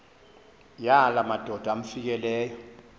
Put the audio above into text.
yala madoda amfikeleyo